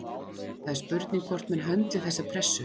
Það er spurning hvort menn höndli þessa pressu?